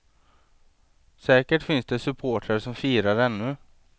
Säkert finns det supportrar som firar ännu.